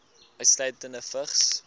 insluitende vigs